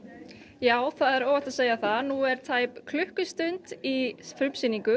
já það er óhætt að segja það nú er tæp klukkustund í frumsýningu